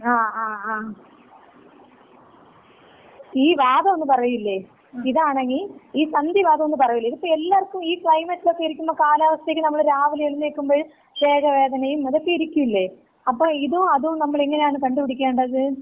ആ ആ ആ. ഈ വാതം എന്ന് പറയൂലേ, ഇതാണങ്കി ഈ സന്ധി വാതം എന്ന് പറയൂലെ, ഇതിപ്പോ എല്ലാവർക്കും ഈ ക്ലൈമെറ്റിലക്ക ഇരിക്കുമ്പ ഈ കാലാവസ്ഥക്ക് നമ്മള് രാവിലെ എഴുന്നേക്കുമ്പഴ് ദേഹവേദനയും അതൊക്കെ ഇരിക്കൂലേ? അപ്പം ഇതും അതും നമ്മള് എങ്ങനെയാണ് കണ്ട്പിടിക്കേണ്ടത്?